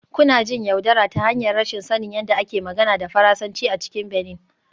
Kuna jin yaudara ta hanyar rashin sanin yadda ake magana da Faransanci a cikin Benin